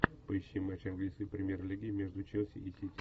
поищи матч английской премьер лиги между челси и сити